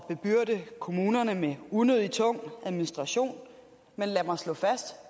bebyrde kommunerne med unødig tung administration men lad mig slå fast